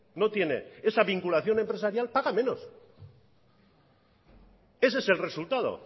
no tiene esa vinculación empresarial paga menos ese es el resultado